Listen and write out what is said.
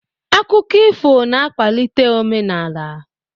Akụkọ ifo na-akwalite omenaala.